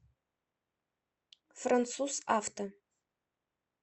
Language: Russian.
француз авто